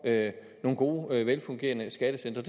nogle gode velfungerende skattecentre